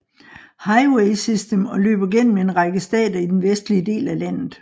Highway System og løber gennem en række stater i den vestlige del af landet